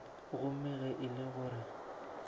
gomme ge e le gore